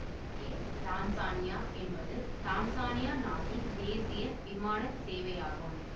ஏர் Tanzania என்பது Tanzania நாட்டின் தேசிய விமான சேவையாகும்